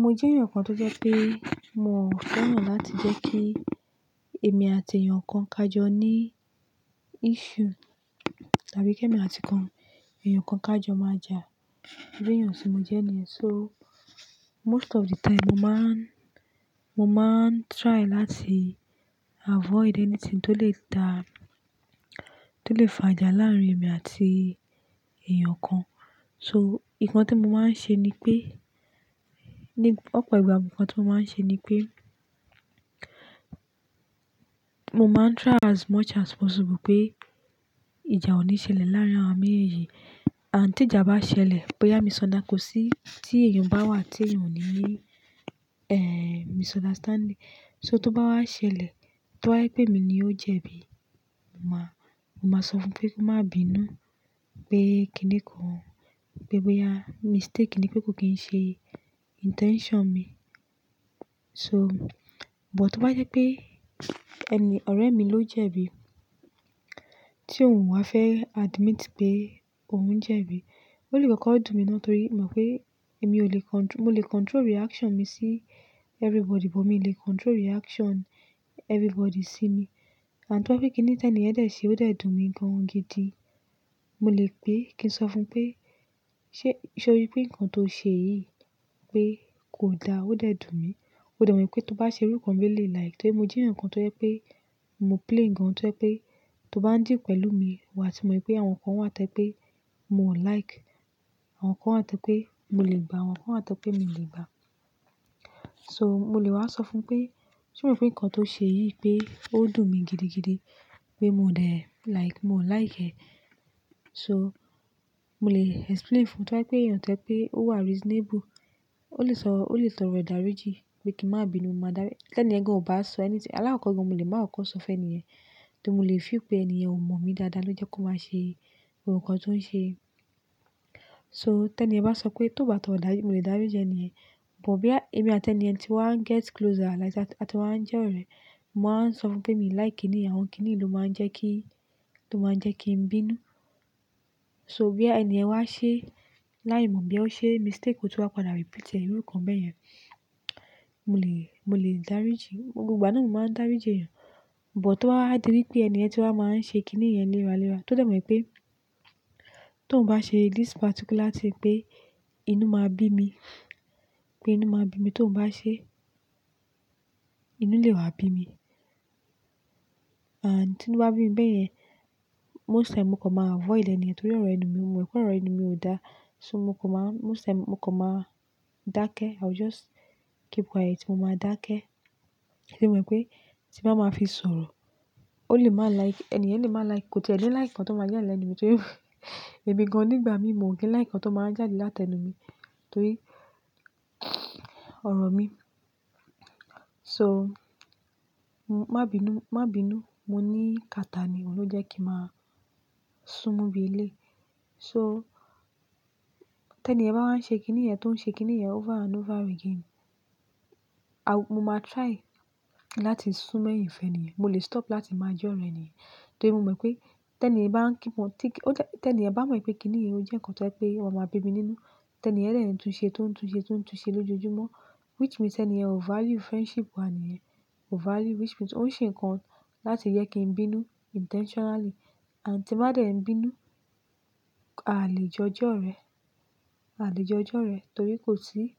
Mo jẹ́ èèyàn kan tó jẹ́ pé mi ò fẹ́ràn láti jẹ́ kí èmi àti èèyàn kan kájọ ní issue, tàbí kí èmi àti kan èèyàn kan kájọ máa jà. Irú èèyàn tí mo jẹ́ niyen. So most of the time, mo máàán, mo máàán try láti avoid anything tó lè dá, tó lè fa ìjà láàárín èmi àti èèyàn kan. So nǹkan tí mo máà ń ṣe ni pé, ní ọ̀pọ̀ ìgbà nǹkan tí mo máa ń ṣe ni pé, mo máà ń try as much as possible pé ìjà ò ní ṣẹlẹ̀ láàárín àwa méjèèjì. And tí ìjà bá ṣẹlẹ̀, boya misunderstanding, kò sí tí èèyàn bá wà tí èèyàn ò ní ni, ehn, misunderstanding. So tó bá wá ṣẹlẹ̀, tó bá jẹ́ pé mi ni ó jẹ̀bi, mo máa, mo máa sọ fún pé kó má bínú, pé kíni kan, pé bóyá mistake ni, pé kò kín ṣe intention mi. So, but tó bá jẹ́ pé ẹni ọ̀rẹ́ mi ló jẹ̀bi, tí ò wa fẹ́ admit pé òun jẹ̀bi, ó lè kọ́kọ́ dùn mí náà torí mo mọ̀ pé èmi ò lè control-- mo lè control reaction mi sí everybody, but mi o lè control reaction everybody sí mi. And tó bá je pé kíni ti eniyẹn de ṣe, ó de dùn mí gan an gidi. Mo lè pé kí n sọ fún un pé, "Ṣé, ṣé o rí pé nǹkan tó ṣe yìí pé kò da?" Ó de dùn mí. Ó de mọ̀ wipé tó bá ṣe irú nǹkan bi ẹ̀lèyi like. Torí mo jẹ́ èèyàn kan tó jẹ́ pé mo plain gan tó jẹ́ pé tó bá ń deal pẹ̀lú mi, wà ti mọ̀ pé àwọn nǹkan wà tó je pé mo ò like. Àwọn nǹkan wà tó je pé mo lè gbà, àwọn nǹkan wà tó je pé mio ò lè gbà. So mo lè wá sọ fún un pé, "Ṣé o mọ̀ pé nǹkan tó ṣe yìí pé ó dùn mí gidigidi? Pé mo de like, mio ò like e." So mo lè explain fún un tó bá jẹ́ pé èèyàn tẹ́ je pé ó wà reasonable, ó lè sọ, ó lè torọ idáriji pé kí n má bínú, mo máa dári tẹ ni yẹ́n gan ò bá sọ anything. Alákokọ́ gan mo lè má kọ̀kọ̀ sọ fún ènìyen, torí mo lè feel pé èniyen ò mọ̀ mi dáadáa ló jẹ́ kó máa ṣe gbogbo nǹkan tó ń ṣe. So tẹni yẹ́n bá sọ pé ti ó bá tọ̀rọ́ idariji, mo lè dárí jẹ èniyen. But boya èmi àti èniyen ti wá ń get closer like àti wá ń jẹ́ ọ̀rẹ́, mo máà ń sọ fún un pé mi o like kíni, àwọn kíni ló máa ń jẹ́ kí, tó máa ń jẹ́ kí n bínú. So boya èniyen wá ṣe láì mọ̀ bí ó ṣe mistake, ó túnwa padà repeat irú nǹkan bẹ́ẹ̀ yẹn, mo lè, mo lè dárí ji. Gbogbo ìgbà náà ni mo máà ń dárí ji èèyàn. But tó bá wa di wípé èniyen tí wá máa ń ṣe kíni yẹn lera lera, tó de mọ̀ wípé ti oun bá ṣe this particular thing pé inú máa bí mi, pé inú máa bí mi, ti oun bá ṣe, inú lè wá bí mi. And tí inú bá bími bẹ́ẹ̀ yẹn, most time mo kọ̀ má avoid ẹ́nìyẹn torí ọ̀rọ̀ ẹnu mi, mo mọ̀ pé ọ̀rọ̀ ẹnu mi ò dá. So mo kọ̀ má, most time mo kọ̀ má dákẹ́. I will just keep quiet. Mo máa dákẹ́. Torí mó mọ̀ wipé tí n bàá máa fi sọ̀rọ̀, ó lè má like, èniyen lè má like, kò ti e ni like nkan tó máa jàde láti ẹnu mi torí èmi gan nígbà míì mio kin like nkan tó máa n jáde láti ẹnu mi torí ọ̀rọ̀ mi. So má bínú, má bínú. Mo ní kata ni, òun ló jẹ́ kí màá sún mú bí eleyi. So tẹ ni yẹ́n bá wá ń ṣe kíni yẹn tó ń ṣe kíni yẹn over and over again, a-- mo máa try láti sún mọ́ eyin fẹ́niyen. Mo lè stop láti máa jẹ́ ọ̀rẹ́ èniyen torí mo mọ̀ pé ti eniyen bá ń keep on, tí eniyen bá mọ̀ pé kíni yìí ò jẹ́ nǹkan tó jẹ́ pé ó máa bí mi nínú, ti eniyen de n tunṣe, tún un ṣe, tún un ṣe lójoojúmọ́, which means eniyen o value friendship wà ní yèn, ko value, which means ó ń ṣe nǹkan láti jẹ́ kí n bínú intentionally. And tí n bá dẹ̀ n bínú, a lè jo je ọ̀rẹ́, a lè jo jẹ ọ̀rẹ́ torí kò sí--